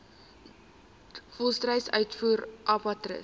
volstruis uitvoer abattoirs